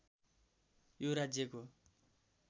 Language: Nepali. यो राज्यको